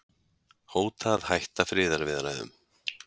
Hóta að hætta friðarviðræðum